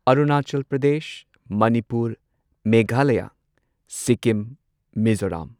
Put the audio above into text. Arunachal Pradesh Manipur Meghalaya Sikkim Meghalaya